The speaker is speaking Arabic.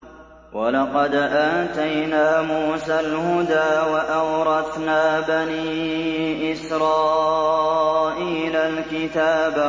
وَلَقَدْ آتَيْنَا مُوسَى الْهُدَىٰ وَأَوْرَثْنَا بَنِي إِسْرَائِيلَ الْكِتَابَ